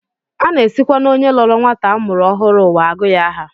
A na-esikwa n'onye lọọrọ nwata a mụrụ ọhụrụ ụwa agụ ya aha